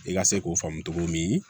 I ka se k'o faamu cogo min